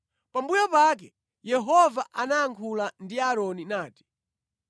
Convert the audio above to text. Pambuyo pake Yehova anayankhula ndi Aaroni nati,